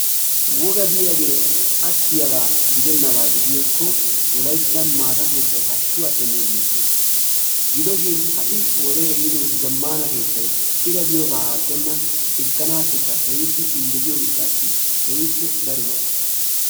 Woga diyagee attiyaba gidennaba gidiyakko wolayttan maata keettay hashshu attenne giissees, gidoshin ha"i wode ehido zaammana keettay ira giyoba aattenna xiskkanasikka injettetiyo gishshassa keehippe daro lo"o.